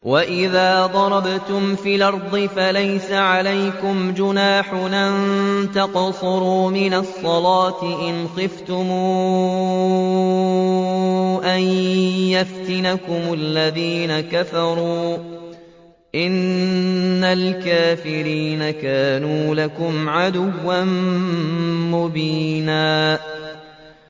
وَإِذَا ضَرَبْتُمْ فِي الْأَرْضِ فَلَيْسَ عَلَيْكُمْ جُنَاحٌ أَن تَقْصُرُوا مِنَ الصَّلَاةِ إِنْ خِفْتُمْ أَن يَفْتِنَكُمُ الَّذِينَ كَفَرُوا ۚ إِنَّ الْكَافِرِينَ كَانُوا لَكُمْ عَدُوًّا مُّبِينًا